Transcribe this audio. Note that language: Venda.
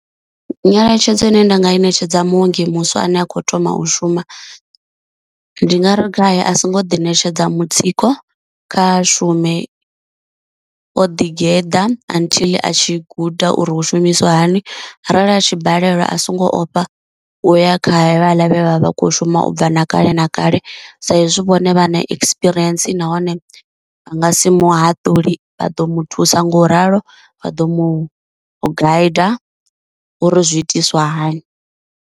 Nyeletshedzo ine nda nga i ṋetshedza muongi muswa ane a kho thoma u shuma, ndi nga ri gai a so ngo ḓi ṋetshedza mutsiko, kha shume o ḓi geḓa until a tshi guda uri hu shumisiwa hani, arali a tshi balelwa a songo ofha u ya kha hevhala vhe vha vha vha kho shuma u bva na kale na kale sa izwi vhone vha na ekisipirientsi nahone vha nga si muhaṱuli vha ḓo muthusa nga u ralo vha ḓo mu guide uri zwi itiswa hani.